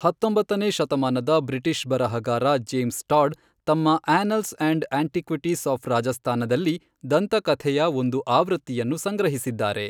ಹತ್ತೊಂಬತ್ತನೇ ಶತಮಾನದ ಬ್ರಿಟಿಷ್ ಬರಹಗಾರ ಜೇಮ್ಸ್ ಟಾಡ್, ತಮ್ಮ ಆ್ಯನಲ್ಸ್ ಅಂಡ್ ಆಂಟಿಕ್ವಿಟೀಸ್ ಆಫ್ ರಾಜಸ್ಥಾನದಲ್ಲಿ ದಂತಕಥೆಯ ಒಂದು ಆವೃತ್ತಿಯನ್ನು ಸಂಗ್ರಹಿಸಿದ್ದಾರೆ.